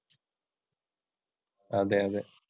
അതേ അതെ.